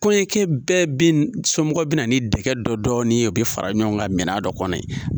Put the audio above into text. Kɔɲɔnkɛ bɛɛ be ,so be na ni dɛgɛ dɔ dɔɔni ye ,o be fara ɲɔgɔn kan minɛn dɔ kɔnɔ.